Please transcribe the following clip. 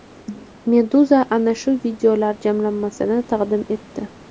Meduza ana shu videolar jamlanmasini taqdim etdi .